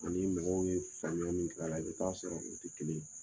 Ani mɔgɔw ye faamuya min k'a la i bɛ taaa sɔrɔ ani o tɛ kelen